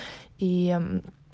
ии